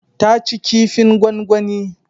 Ta ci kifin gwangwani.